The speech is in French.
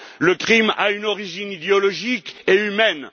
Le crime a une origine idéologique et humaine.